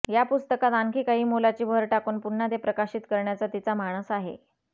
या पुस्तकात आणखी काही मोलाची भर टाकून पुन्हा ते प्रकाशित करण्याचा तिचा मानस आहे